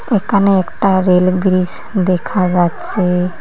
একানে একটা rail bridge দেখা যাচ্ছে।